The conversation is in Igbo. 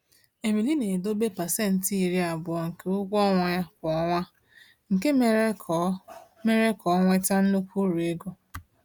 Emili na-edobe 20% nke ụgwọ ọnwa ya kwa ọnwa, nke mere ka ọ mere ka ọ nweta nnukwu uru ego.